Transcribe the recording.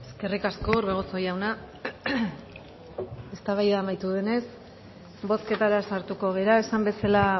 eskerrik asko orbegozo jauna eztabaida amaitu denez bozketara sartuko gara esan bezala